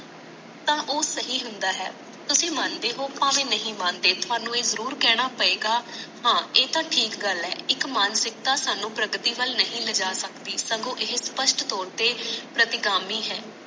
ਤਾ ਉਹ ਸਹੀ ਹੁੰਦਾ ਹੈ ਤੁਸੀ ਮੰਦੇ ਹੋ ਭਾਵੇ ਨਹੀਂ ਮਾਣਦੇ ਹੈ ਇਕ ਤਾ ਠੀਕ ਗੱਲ ਹੈ ਇਕ ਮਾਨਸਿਕਤਾ ਸਾਨੂੰ ਪ੍ਰਗਟੀ ਵੱਲ ਨਹੀਂ ਲਾਜਾ ਸਕਦੀ ਸਗੋਂ ਇਹ ਸਪਸ਼ਟ ਤੋਰ ਤੇ ਪਟੀਗਾਮੀ ਹੈ